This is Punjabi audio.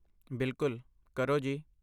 ਬਿਲਕੁੱਲ । ਕਰੋ ਜੀ!